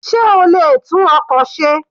Sé o lè tún ọkọ̀ ṣe?